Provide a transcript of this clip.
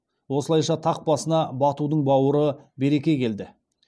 осылайша тақ басына батудың бауыры берке келді